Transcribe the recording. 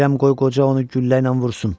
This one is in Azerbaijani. Deyirəm qoy qoca onu güllə ilə vursun.